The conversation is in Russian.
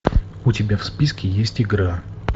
у тебя в списке есть игра